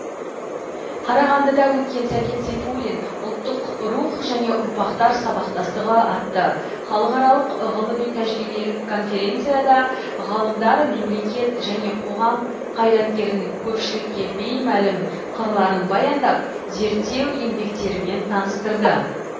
қарағандыда өткен сәкен сейфуллин ұлттық рух және ұрпақтар сабақтастығы атты халықаралық ғылыми тәжірибелік конференцияда ғалымдар мемлекет және қоғам қайраткерінің көпшілікке беймәлім қырларын баяндап зерттеу еңбектерімен таныстырды